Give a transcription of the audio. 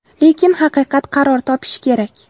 Lekin haqiqat qaror topishi kerak.